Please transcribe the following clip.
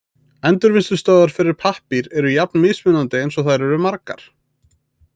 Endurvinnslustöðvar fyrir pappír eru jafn mismunandi eins og þær eru margar.